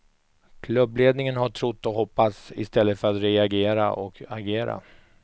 Klubbledningen har trott och hoppats, i stället för att reagera och agera.